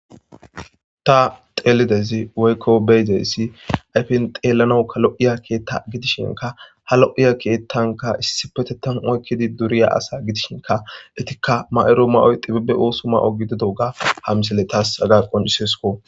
Ta xeelidezi woykko beydeyssi ayfen xeelanoka lo7iya keetta gidishinka ha lo7iya keettanka issipetetan oykkidi duriya asa gidishinka etikka ma7ero ma7oy xibibe oosu ma7o gididoga hamsile taas agaqon iseesko.